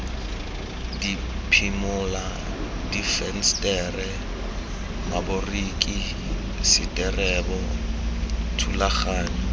diphimola difensetere maboriki seterebo thulaganyo